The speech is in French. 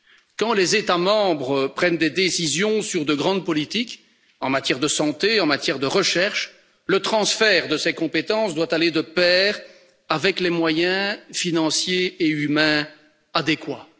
Quand les États membres prennent des décisions sur de grandes politiques, en matière de santé en matière de recherche, le transfert de ces compétences doit aller de pair avec les moyens financiers et humains adéquats.